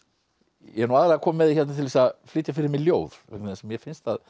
ég er aðallega kominn með þig hérna til að flytja fyrir mig ljóð vegna þess að mér finnst að